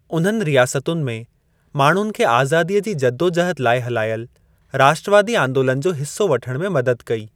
उन्हनि रियासतुनि में माण्हुनि खे आज़ादीअ जी जदोजहद लाइ हलायल राष्ट्रवादी आंदोलन जो हिस्सा वठण में मदद कई।